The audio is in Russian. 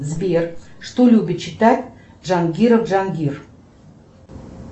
сбер что любит читать джангиров джангир